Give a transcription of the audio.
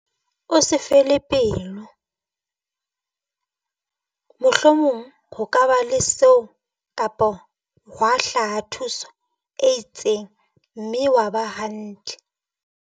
O se fele pelo, mohlomong ho ka ba le seo kapa hwa hlaha thuswa e itseng mme wa ba hantle.